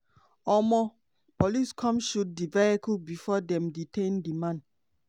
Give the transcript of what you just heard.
um police come shoot di vehicle bifor dem detain di man.